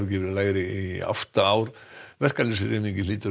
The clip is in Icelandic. verið lægri í átta ár verkalýðshreyfingin hlýtur